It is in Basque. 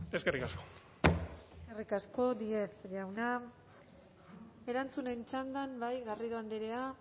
eskerrik asko eskerrik asko díez jauna erantzunen txandan bai garrido andrea